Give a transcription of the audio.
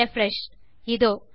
refresh இதோ